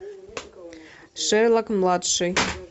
шерлок младший